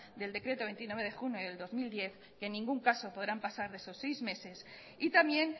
del decreto veintinueve de junio del dos mil diez que en ningún caso podrán pasar de esos seis meses y también